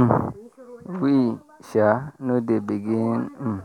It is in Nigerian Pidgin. um we sha no dey begin um